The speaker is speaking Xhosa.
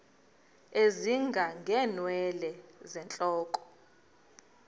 ezinga ngeenwele zentloko